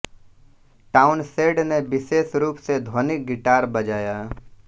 Townshend ने विशेष रूप से ध्वनिक गिटार बजाया